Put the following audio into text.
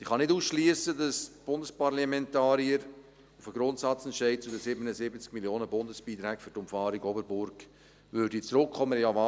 Ich kann nicht ausschliessen, dass die Bundesparlamentarier auf den Grundsatzentscheid zu den 77 Mio. Franken Bundesbeiträgen für die Umfahrung Oberburg zurückkommen würden.